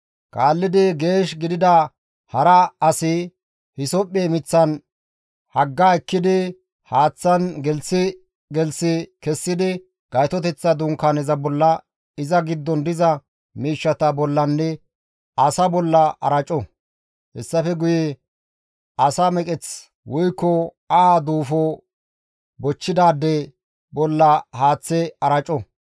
Kaallidi geesh gidida hara asi hisophphe miththa hagga ekkidi haaththan gelththi gelththi kessidi Gaytoteththa Dunkaaneza bolla, iza giddon diza miishshata bollanne asaa bolla araco; hessafe guye asa meqeth woykko aha duufo bochchidaade bolla haaththe araco.